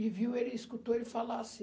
E viu, ele escutou ele falar assim.